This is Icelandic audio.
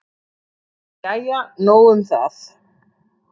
Jæja nóg um það.